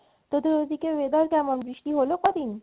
তোদের ঐদিকে weather কেমন? বৃষ্টি হলো কদিন?